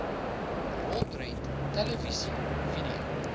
rolprent televisie video